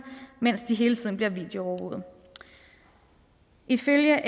mens de hele tiden bliver videoovervåget ifølge